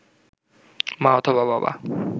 মা অথবা বাবা